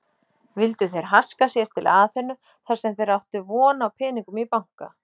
Vildu þeir haska sér til Aþenu þarsem þeir áttu von á peningum í banka.